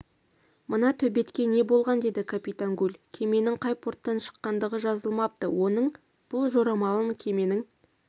мына төбетке не болған деді капитан гуль кеменің қай порттан шыққандығы жазылмапты оның бұл жорамалын кеменің